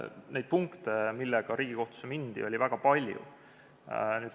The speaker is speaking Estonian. Neid punkte, millega Riigikohtusse mindi, oli väga palju.